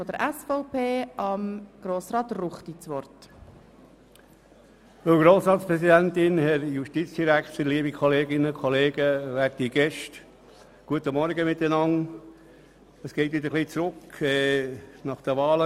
Normalerweise bereiten wir das am Morgen vor, aber heute konnten wir das wegen der Wahlen nicht tun.